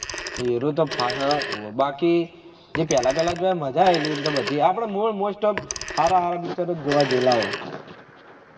એનુજ તો final બાકી જે પેહલા પેહલા જોયા મજા આયેલી એમ તો બધા આપળે most of હારા હારા picture જોવા ગયેલા હોય